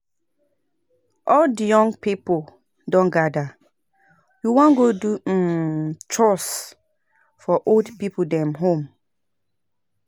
All di young pipo don gada, we wan godo um chores for old pipo dem home.